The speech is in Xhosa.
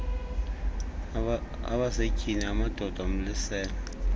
abasetyhini amadoda umlisela